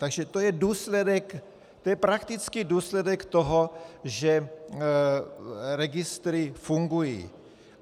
Takže to je důsledek, to je praktický důsledek toho, že registry fungují.